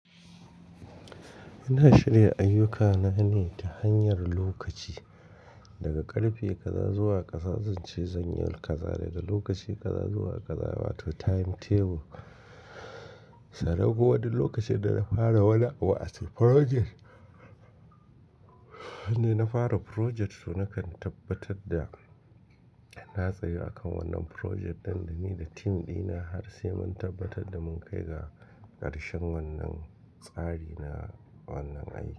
Ina shirya ayyukana ne ta hanyar lokaci, daga ƙarfe ƙaza zuwa ƙasa zanci zanyi ƙaza daga lokaci ƙaza zuwa ƙaza wato timetable. Sannan kuma wani lokacin da na fara wani abu as a project, sanda na fara project to nakan tabbatar da na tsaya akan wannan project ɗin da ni da team ɗina har sai mun tabbatar da mun kai ga ƙarshen wannan tsari na wannan aiki.